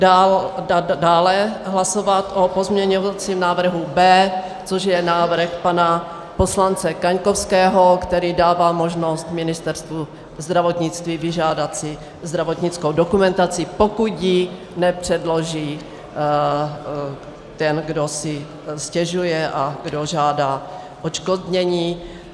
Dále hlasovat o pozměňovacím návrhu B, což je návrh pana poslance Kaňkovského, který dává možnost Ministerstvu zdravotnictví vyžádat si zdravotnickou dokumentaci, pokud ji nepředloží ten, kdo si stěžuje a kdo žádá odškodnění.